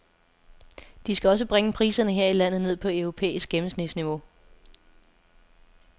De skal også bringe priserne her i landet ned på europæisk gennemsnitsniveau.